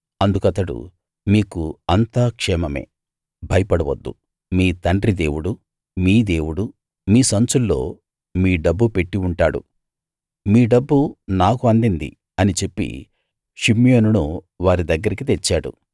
అందుకతడు మీకు అంతా క్షేమమే భయపడవద్దు మీ తండ్రి దేవుడూ మీ దేవుడు మీ సంచుల్లో మీ డబ్బు పెట్టి ఉంటాడు మీ డబ్బు నాకు అందింది అని చెప్పి షిమ్యోనును వారి దగ్గరికి తెచ్చాడు